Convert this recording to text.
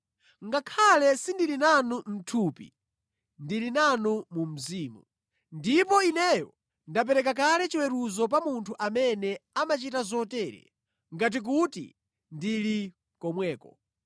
Ngakhale sindili nanu mʼthupi, ndili nanu mu mzimu. Ndipo ineyo ndapereka kale chiweruzo pa munthu amene amachita zotere, ngati kuti ndili komweko.